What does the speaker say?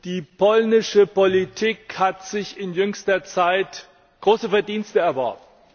Die polnische Politik hat sich in jüngster Zeit große Verdienste erworben.